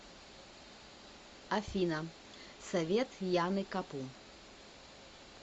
афина совет яны капу